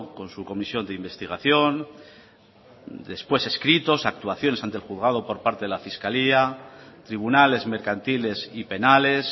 con su comisión de investigación después escritos actuaciones ante el juzgado por parte de la fiscalía tribunales mercantiles y penales